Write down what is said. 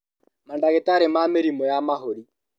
Mandagĩtarĩ ma mĩrimũ ya mahũri